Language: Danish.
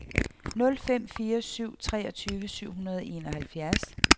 nul fem fire syv treogtyve syv hundrede og enoghalvfjerds